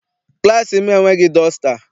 Klassị m enweghị dọsta.